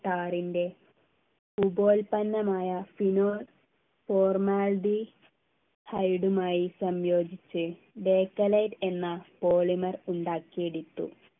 ടാർൻ്റെ ഉപോൽപന്നമായ fino formaldehyde മായി സംയോജിച്ച് ബേക്കലൈറ്റ് എന്ന polymer ഉണ്ടാക്കിഎടുത്തു